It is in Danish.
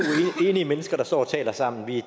enige mennesker der står og taler sammen her